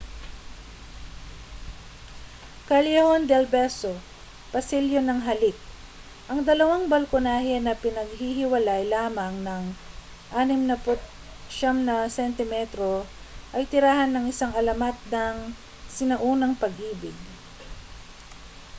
callejon del beso pasilyo ng halik. ang dalawang balkonahe na pinaghihiwalay lamang nang 69 na sentimetro ay tirahan ng isang alamat ng sinaunang pag-ibig